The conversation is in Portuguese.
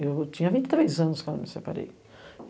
Eu tinha vinte e três anos quando me separei.